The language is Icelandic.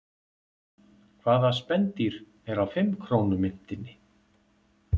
Hvaða spendýr er á fimm krónu myntinni?